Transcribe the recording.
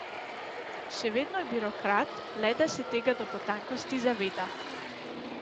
Še vedno je birokrat, le da se tega do potankosti zaveda.